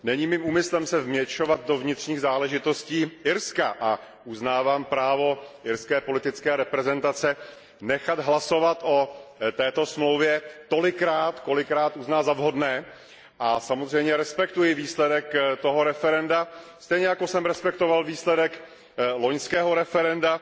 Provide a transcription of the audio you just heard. Dámy a pánové, není mým úmyslem se vměšovat do vnitřních záležitostí Irska a uznávám právo irské politické reprezentace nechat hlasovat o této smlouvě tolikrát, kolikrát uzná za vhodné, a samozřejmě respektuji výsledek toho referenda, stejně jako jsem respektoval výsledek loňského referenda,